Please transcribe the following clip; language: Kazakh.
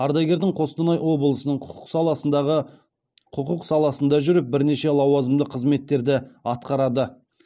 ардагердің қостанай облысының құқық саласындағы құқық саласында жүріп бірнеше лауазымды қызметтерді атқарады